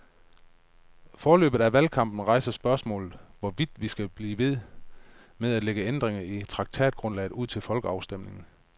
Forløbet af valgkampen rejser spørgsmålet, hvorvidt vi skal blive ved med at lægge ændringer i traktatgrundlaget ud til folkeafstemning.